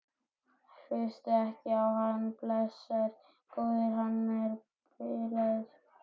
Hlustaðu ekki á hann, blessaður góði. hann er bilaður!